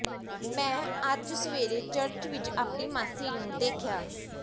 ਮੈਂ ਅੱਜ ਸਵੇਰੇ ਚਰਚ ਵਿਚ ਆਪਣੀ ਮਾਸੀ ਨੂੰ ਦੇਖਿਆ